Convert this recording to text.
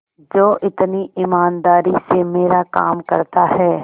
जो इतनी ईमानदारी से मेरा काम करता है